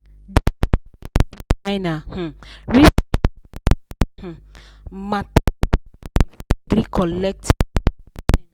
the graphic designer um reason the um matter weller before e gree collect fifteen percent